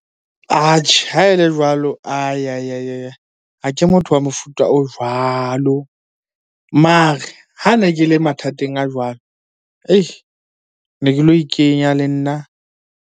Atjhe, ha e le jwalo. Ha ke motho wa mofuta o jwalo, mare ha ne ke le mathateng a jwalo ne ke lo ikenya le nna.